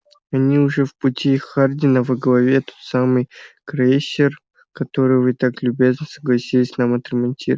они уже в пути хардин а во главе тот самый крейсер который вы так любезно согласились нам отремонтировать